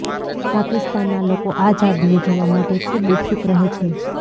પાકિસ્તાનના લોકો આ ઝાડને જોવા માટે ખુબ ઉત્સુક રહે છે